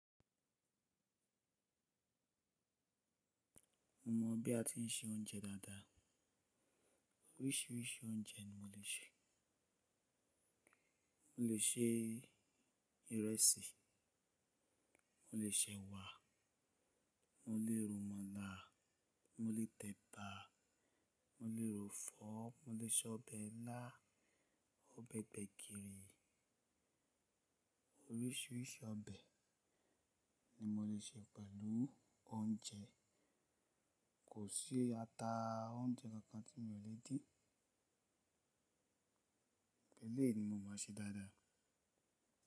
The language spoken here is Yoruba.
Mo mọ̀ bí a ti ń se oúnjẹ dáadáa. Oríṣiríṣi oúnjẹ ni mo lè se. Mo lè ṣe ìrẹsì, mo lè ṣe ẹ̀wà, mo lè ro màlá, mo lè tẹ̀ bá, mo lè ro fọ́, mo lè se ọbẹ̀ ilá, ọbẹ̀ gbẹ̀gìrì. Oríṣiríṣi ọbẹ̀ ni mo lè se pẹ̀lú oúnjẹ. Kò sí ata oúnjẹ kankan tí mi ò lè dín. Gbogbo èléyi ni mo mọ ṣe dáadáa.